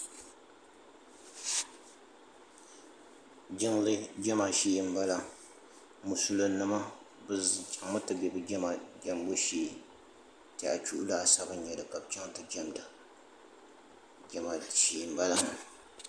jinli jama shɛɛ n bala mosulinima bɛ chɛŋ mi ti bɛ jama jabu shɛɛ n tɛya do laasabu nyɛli ka bɛ chɛŋ ti jamida jama shɛɛ n bala